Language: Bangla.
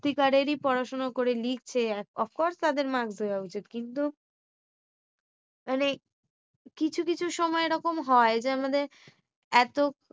সত্যিকারেরি পড়াশোনা করে লিখছে আর of course তাদের marks দেওয়া উচিৎ। কিন্তু মানে কিছু কিছু সময় এই রকম হয়। যেন আমাদের এতো